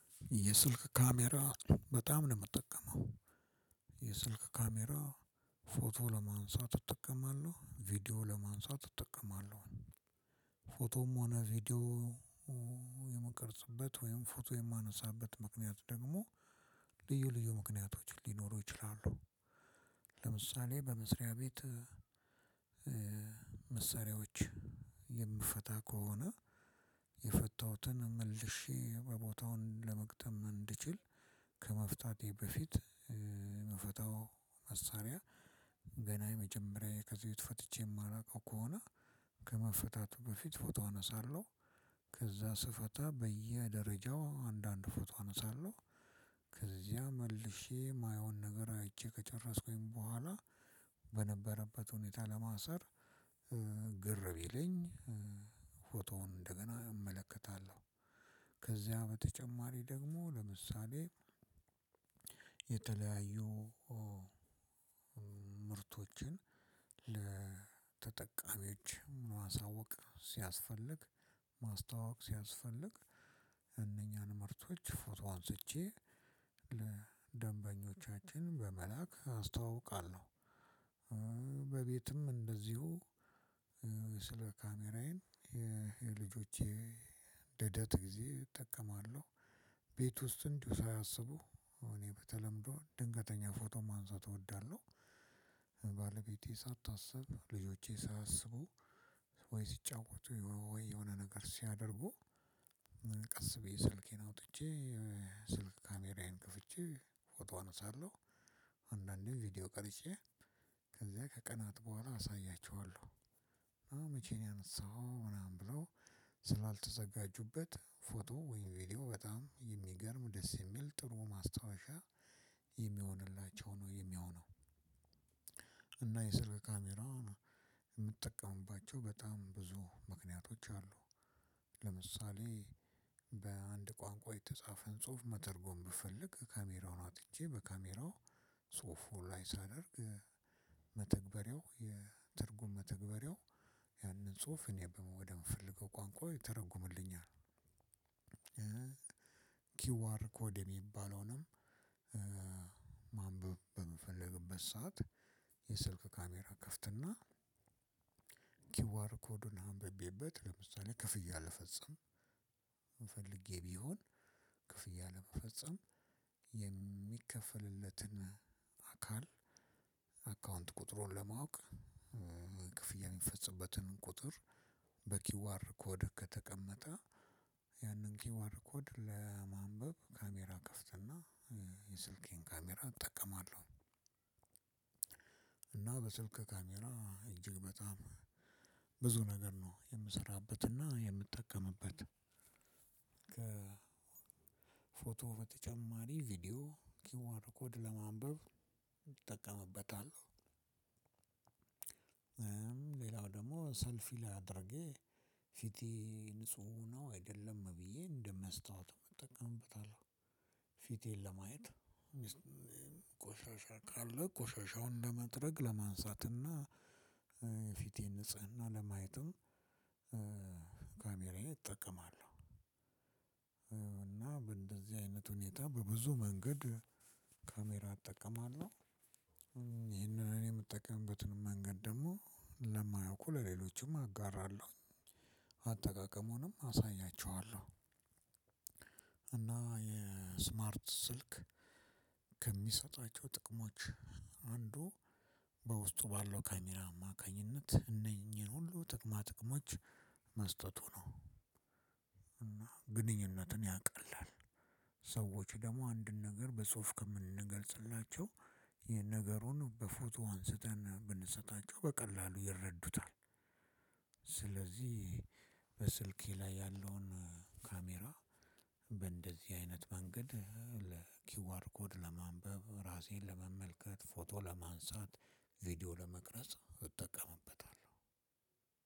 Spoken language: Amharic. የስልክ ካሜራ በጣም ነው የምጠቀመው። የስልክ ካሜራ ፎቶ ለማንሳት እጠቀማለሁ ቪዲዮ ለመንሳት እጠቀማለሁ። ፎቶም ሆነ ቪዲዮ የምቀርጽበት ወይም ፎቶ የማነሳበት ምክንያት ደግሞ ልዩ ልዩ ምክንያቶች ሊኖሩ ይችላሉ። ለምሳሌ በመስሪያ ቤት መሳሪያዎች የምፈታ ከሆነ የፈታሁትን መልሼ በቦታውን ለመግጠም እንድችል ከመፍታቴ በፊት የምፈታው መሳሪያ ገና የመጀመሪያ ከዚህ በፊት ፈትቼ የማላውቀው ከሆነ ከመፈታቱ በፊት ፎቶ አነሳለሁ ከዛ ስፈታ በየደረጃው አንዳንድ ፎቶ አነሳለሁ ከዚያ መልሼ የማይሆን ነገር አይቼ ከጨረስኩኝ በኋላ በነበረበት ሁኔታ ለማሰር ግር ቢለኝ ፎቶውን እንደገና እመለከታለሁ። ከዚያ በተጨማሪ ደግሞ ለምሳሌ የተለያዩ ምርቶችን ለተጠቃሚዎች ማሳወቅ ሲያስፈልግ ማስተዋወቅ ሲያስፈልግ እነኛን ምርቶች ፎቶ አንስቼ ለደንበኞቻችን በመላክ አስተዋውቃለሁ። በቤትም እንደዚሁ ስለ ካሜራዬም የልጆቼ ልደት ጊዜ እጠቀማለሁ ቤት ውስጥ እንዲሁ ሳያስቡ እኔ በተለምዶ ድንገተኛ ፎቶ ማንሳት እወዳለሁ። ባለቤቴ ሳታስብ ልጆቼ ሳያስቡ ወይ ሲጫወቱ ወይ የሆነ ነገር ሲያደርጉ ቀስ ብዬ ስልኬን አውጥቼ የ ስልክ ካሜራዬን ክፍቼ ፎቶ አነሳለሁ። አንዳንዴ ቪዲዮ ቀርጬ ከዚያ ከቀናት በኋላ አሳያቸዋለሁ። አ መቼ ነው ያነሳሃው? ምናምን ብለው ስላልተዘጋጁበት ፎቶ ወይም ቪዲዮ በጣም የሚገርም ደስ የሚል ጥሩ ማስታወሻ የሚሆንላቸው ነው የሚሆነው። እና የስልክ ካሜራ የምትጠቀሙባቸው በጣም ብዙ ምክንያቶች አሉ። ለምሳሌ በአንድ ቋንቋ የተጻፈን ጽሁፍ መተርጎም ብፈልግ ካሜራውን አጥቼ በካሜራው ጽሁፉ ላይ ሳደርግ መተግበሪያው የትርጉም መተግበሪያው ያንን ጽሁፍ እኔ ወደ የምፈልገው ቋንቋ ይተረጉምልኛል። ኪዋር ኮድ የሚባለውንም ማንበብ በምፈልግበት ሰዓት የስልክ ካሜራ እከፍት እና ኪዋር ኮዱን አንብቤበት ለምሳሌ ክፍያ ልፈጸም ፈልጌ ቢሆን ክፍያ ለመፈጸም የሚከፈልለትን አካል አካውንት ቁጥሩን ለማወቅ ክፍያ የሚፈፀምበትን ቁጥር በ ኪው አር ኮድ ከተቀመጠ ያንን ኪዋር ኮድ ለማንበብ ካሜራ እከፍተና የስልኬን ካሜራ እጠቀማለሁ። እና በስልክ ካሜራ እጅግ በጣም ብዙ ነገር ነው የምሰራበትና የምጠቀምበት። ከ ፎቶ በተጨማሪ ቪዲዮ ኪዋር ኮድ ለማንበብ እጠቀምበታለሁ። ሌላው ደግሞ ሰልፊ አድርጌ ፊቴ ንጹህ ነው አይደለም ብዬ አንደ መስተዋትም አጠቀምበታለሁ። ፊቴን ለማየት ቆሻሻ ካለ ቆሻሻውን ለመጥረግ ለማንሳትና እ የ ፊቴን ንጽህና ለማየትም ካሜራዬ እጠቀማለሁ። እና በእንደዚህ አይነት ሁኔታ በብዙ መንገድ ካሜራ እጠቀማለሁ። ይህንን እኔ የምጠቀምበትን መንገድ ደግሞ ለማያውቁ ለሌሎችም አጋራለሁ። አጠቃቀሙንም አሳያቸዋለሁ። እና የስማርት ስልክ ከሚሰጣቸው ጥቅሞች አንዱ በውስጡ ባለው ካሜራ አማካኝነት እነኚህን ሁሉ ጥቅማ ጥቅሞች መስጠቱ ነው እና ግንኙነትን ያቀላል። ሰዎች ደግሞ አንድን ነገር በጽሁፍ ከምንገልጽላቸው ነገሩን በፎቶ አንስተን ብንሰጣቸው በቀላሉ ይረዱታል። ስለዚህ በስልኬ ላይ ያለውን ካሜራ በእንደዚህ አይነት መንገድ ለኪዋር ኮድ ለማንበብ ራሴን ለመመልከት ፎቶ ለማንሳት ቪዲዮ ለመቅረጽ እጠቀምበታለሁ።